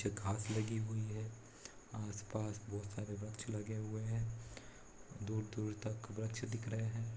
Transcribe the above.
कुछ घास लगी हुई है आसपास बहुत सारे वृक्ष लगे हुए हैं दूर-दूर तक वृक्ष दिख रहे हैं।